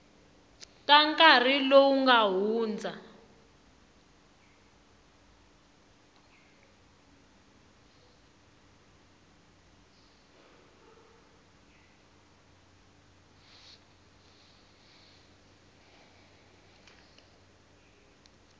ta nkarhi lowu nga hundza